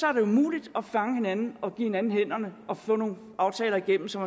er det umuligt at fange hinanden og give hinanden hænderne og få nogle aftaler igennem som